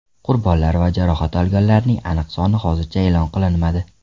Qurbonlar va jarohat olganlarning aniq soni hozircha e’lon qilinmadi.